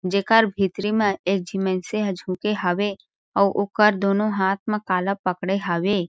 जेकर भीतरी में एक झी मइनसे ह झुके हावे ओर ओकर दोनों हाथ म कला पकड़े हावे।